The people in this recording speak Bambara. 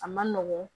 A man nɔgɔn